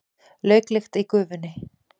Lauklykt í gufunni.